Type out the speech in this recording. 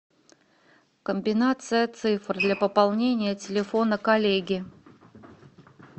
комбинация цифр для пополнения телефона коллеги